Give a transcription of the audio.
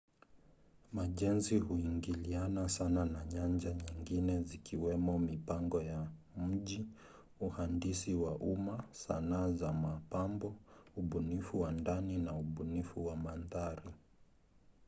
majenzi huingiliana sana na nyanja nyingine zikiwemo mipango ya mji uhandisi wa umma sanaa za mapambo ubunifu wa ndani na ubunifu wa mandhari